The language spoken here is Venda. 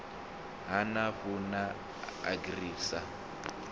ha nafu na agri sa